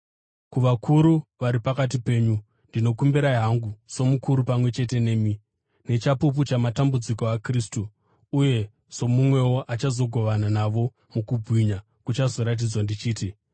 Kuvakuru vari pakati penyu, ndinokumbira hangu somukuru pamwe chete nemi, nechapupu chamatambudziko aKristu, uye somumwewo achazogovana navo mukubwinya kuchazoratidzwa ndichiti: